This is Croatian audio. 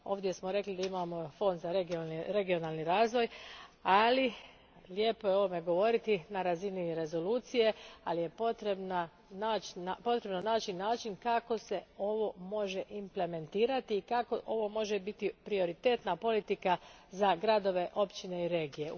Ovdje smo rekli da imamo fond za regionalni razvoj, ali lijepo je o ovome govoriti na razini rezolucije, ali je potrebno naći način kako se ovo može implementirati i kako ovo može biti prioritetna politika za gradove, općine i regije.